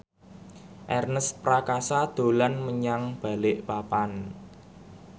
Ernest Prakasa dolan menyang Balikpapan